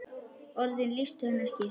Orðin lýstu henni ekki.